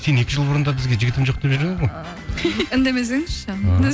сен екі жыл бұрын да бізге жігітім жоқ деп жүр едің ғой үндемесеңізші